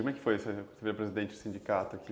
Como é que foi você virar presidente do sindicato aqui?